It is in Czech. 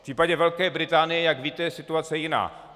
V případě Velké Británie, jak víte, je situace jiná.